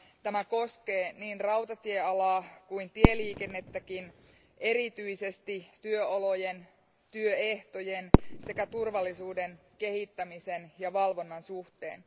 Tämä koskee niin rautatiealaa kuin tieliikennettäkin erityisesti työolojen ja ehtojen sekä turvallisuuden kehittämisen ja valvonnan suhteen.